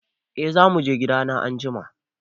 E, za mu je gidana anjima.